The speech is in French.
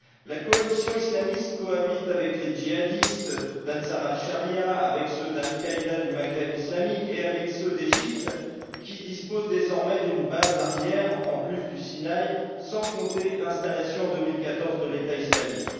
La coalition islamiste cohabite avec les djihadistes d'Ansar al Charia avec ceux d'Al Qaïda du Maghreb islamique et avec ceux d'Égypte, qui disposent désormais d'une base arrière en plus du Sinaï, sans compter l'installation en 2014 de l'État islamique.